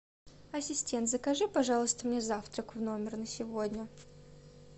ассистент закажи пожалуйста мне завтрак в номер на сегодня